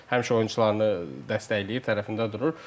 Həmişə oyunçularını dəstəkləyir, tərəfində durur.